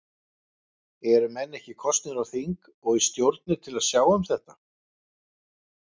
Eru menn ekki kosnir á þing og í stjórnir til að sjá um þetta?